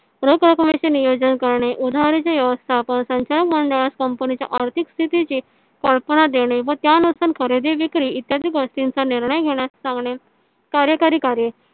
नियोजन करणे. उधरीचे व्यवस्थापन संचालक मंडळास कमपणीच्या आर्थिक स्थितीची कल्पना देणे. व त्या नुसार खरेदी विक्री इत्यादि गोष्टीचा निर्णय घेण्यास सांगणे . कार्यकारी कार्य